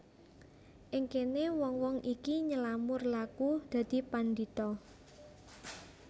Ing kene wong wong iki nylamur laku dadi pandhita